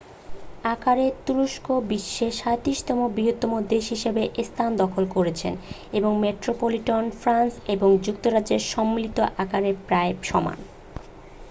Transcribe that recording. আকারে তুরস্ক বিশ্বে 37-তম বৃহত্তম দেশ হিসাবে স্থান দখল করেছে এবং মেট্রোপলিটন ফ্রান্স এবং যুক্তরাজ্যের সম্মিলিত আকারের প্রায় সমান